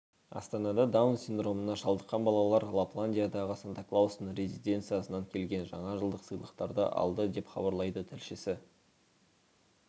астанада даун синдромына шалдыққан балалар лапландиядағы санта-клаустың резиденциясынан келген жаңа жылдық сыйлықтарды алды деп хабарлайды тілшісі